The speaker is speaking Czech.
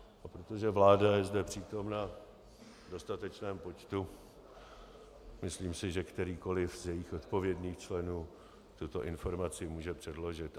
A protože vláda je zde přítomna v dostatečném počtu, myslím si, že kterýkoliv z jejích odpovědných členů tuto informaci může předložit.